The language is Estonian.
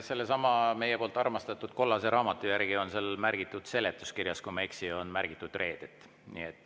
Sellesama meie poolt armastatud kollase raamatu järgi, kui ma ei eksi, on seal seletuskirjas märgitud reedet.